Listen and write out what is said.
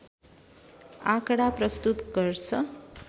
आँकडा प्रस्तुत गर्छ